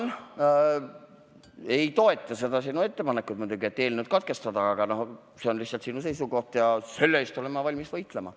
Ma muidugi ei toeta sinu ettepanekut eelnõu lugemine katkestada, aga see on lihtsalt sinu seisukoht ja selle esitamise õiguse eest olen ma valmis võitlema.